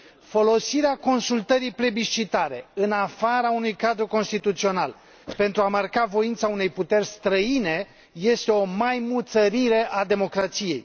Folosirea consultării plebiscitare, în afara unui cadru constituțional pentru a marca voința unei puteri străine este o maimuțărire a democrației.